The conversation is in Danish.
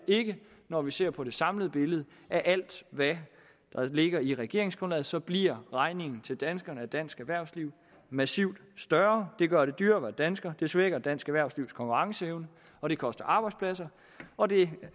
ikke når vi ser på det samlede billede af alt hvad der ligger i regeringsgrundlaget så bliver regningen til danskerne og dansk erhvervsliv massivt større det gør det dyrere at være dansker det svækker dansk erhvervslivs konkurrenceevne og det koster arbejdspladser og det